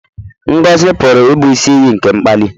Ngọzi pụrụ ịbụ isi iyi nke mkpali.